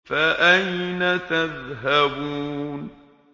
فَأَيْنَ تَذْهَبُونَ